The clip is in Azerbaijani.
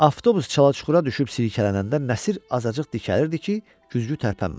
Avtobus çala-çuxura düşüb silkələnəndə Nəsir azacıq dikəlirdi ki, güzgü tərpənməsin.